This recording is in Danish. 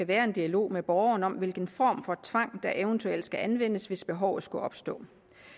være en dialog med borgeren om hvilken form for tvang der eventuelt skal anvendes hvis behovet skulle opstå